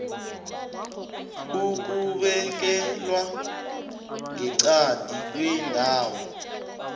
ukubekelwa ngeqadi kwendawo